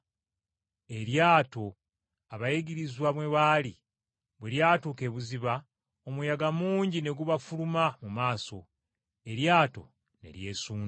Eryato abayigirizwa mwe baali bwe lyatuuka ebuziba, omuyaga mungi ne gubafuluma mu maaso eryato ne lyesunda.